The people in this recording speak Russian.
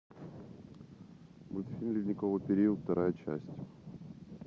мультфильм ледниковый период вторая часть